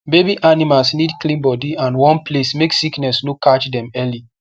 baby animals need clean body and warm place make sickness no catch dem early